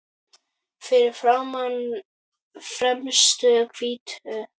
Fyrir framan fremstu hvítu kúluna.